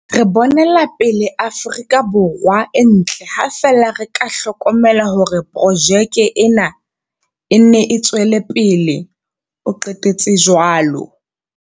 Re bonela pele Afrika Borwa e ntle ha feela re ka hlokomela hore projeke ena e nne e tswele pele, o qetetse jwalo.